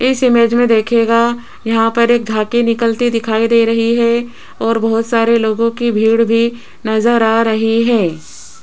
इस इमेज में देखिएगा यहां पर एक झाकी निकलती दिखाई दे रही है और बहोत सारे लोगों की भीड़ भी नजर आ रही है।